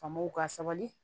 Faamaw ka sabali